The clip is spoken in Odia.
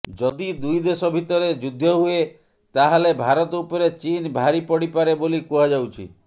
ଯଦି ଦୁଇ ଦେଶ ଭିତରେ ଯୁଦ୍ଧ ହୁଏ ତାହାଲେ ଭାରତ ଉପରେ ଚୀନ ଭାରି ପଡ଼ିପାରେ ବୋଲି କୁହାଯାଉଛି